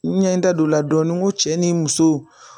N ɲɛ da don o la dɔɔnin n ko cɛ ni muso